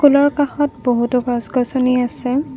ফুলৰ কাষত বহুতো গছ গছনি আছে।